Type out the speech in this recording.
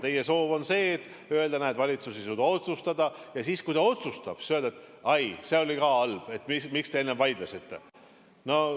Teie soov on öelda, et näed, valitsus ei suuda otsustada, ja siis, kui ta otsustab, öelda, et ai, see oli ka halb, et miks te enne vaidlesite.